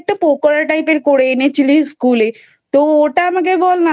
একটা পকোড়া Type এর করে এনে দিয়েছিলিস School এ তো ওটা আমাকে বলনা?